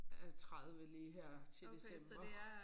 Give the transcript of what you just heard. Øh 30 lige her til december